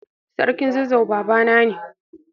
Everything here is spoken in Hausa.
Sarkin zazzau babana ne.